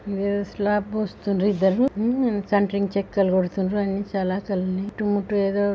ఊ ఇదేదో స్లాబ్ పుస్తుడ్రు ఇద్దరు ఊ సెంటర్ కి చెక్కలు కొడుతున్రు అన్ని చాలా ఉన్నాయి ఇటు అటు ఏదో --